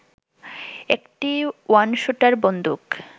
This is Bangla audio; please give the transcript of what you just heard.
একটি ওয়ানস্যুটার বন্দুক